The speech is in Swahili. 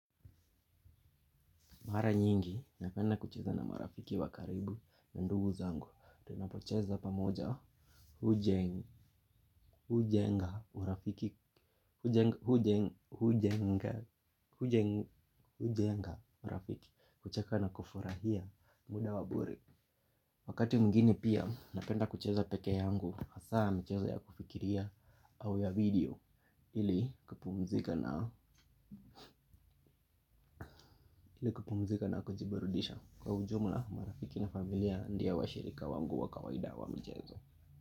Mara nyingi, napenda kucheza na marafiki wa karibu na ndugu zangu. Tunapocheza pamoja, hujenga urafiki, hujenga urafiki, kucheka na kufurahia muda waburi. Wakati wingine pia, napenda kucheza peke yangu, hasa michezo ya kufikiria au ya video. Ili kupumzika na kujiburudisha. Kwa ujumla marafiki na familia ndiyo washirika wangu wa kawaida wa mchezo.